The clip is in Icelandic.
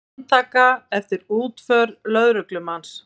Handtaka eftir útför lögreglumanns